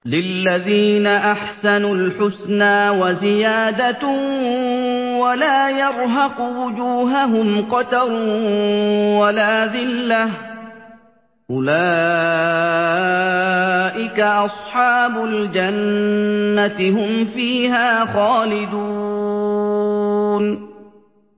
۞ لِّلَّذِينَ أَحْسَنُوا الْحُسْنَىٰ وَزِيَادَةٌ ۖ وَلَا يَرْهَقُ وُجُوهَهُمْ قَتَرٌ وَلَا ذِلَّةٌ ۚ أُولَٰئِكَ أَصْحَابُ الْجَنَّةِ ۖ هُمْ فِيهَا خَالِدُونَ